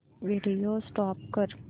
video stop कर